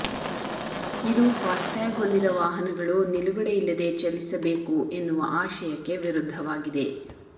ಇದು ಫಾಸ್ಟ್ಟ್ಯಾಗ್ ಹೊಂದಿದ ವಾಹನಗಳು ನಿಲುಗಡೆ ಇಲ್ಲದೆ ಚಲಿಸಬೇಕು ಎನ್ನುವ ಆಶಯಕ್ಕೆ ವಿರುದ್ಧವಾಗಿದೆ